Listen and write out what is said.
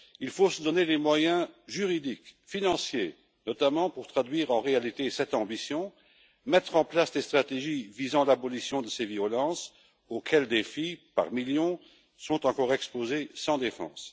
Il faut se donner les moyens juridiques et financiers, notamment, pour traduire en réalité cette ambition et mettre en place des stratégies visant à l'abolition de ces violences auxquelles des filles, par millions, sont encore exposées sans défense.